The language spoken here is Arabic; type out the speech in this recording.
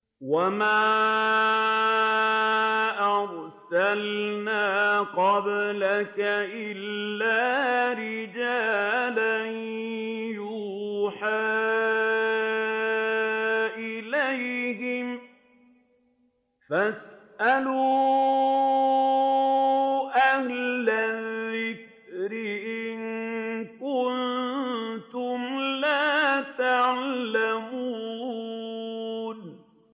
وَمَا أَرْسَلْنَا قَبْلَكَ إِلَّا رِجَالًا نُّوحِي إِلَيْهِمْ ۖ فَاسْأَلُوا أَهْلَ الذِّكْرِ إِن كُنتُمْ لَا تَعْلَمُونَ